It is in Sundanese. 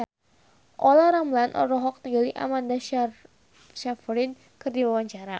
Olla Ramlan olohok ningali Amanda Sayfried keur diwawancara